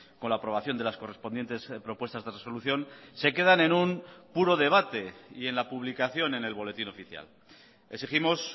con la aprobación de las correspondientes propuestas de resolución se quedan en un puro debate y en la publicación en el boletín oficial exigimos